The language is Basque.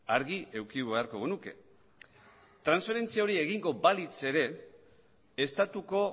argi eduki beharko genuke transferentzia hori egongo balitz ere estatuko